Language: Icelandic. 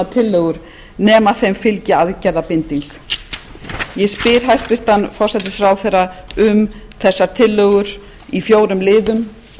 tillögur nema þeim fylgi aðgerðabinding ég spyr hæstvirtur forsætisráðherra um þessar tillögur í fjórum liðum